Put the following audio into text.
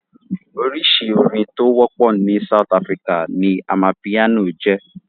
Oríṣi orin tó wọ́pọ̀ ní South Africa ni amapiano jẹ́.